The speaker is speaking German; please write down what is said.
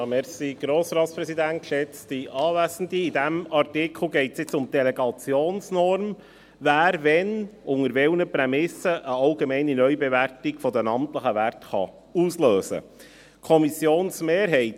In diesem Artikel geht es um die Delegationsnorm, wer, wann unter welchen Prämissen eine allgemeine Neubewertung der amtlichen Werte auslösen kann.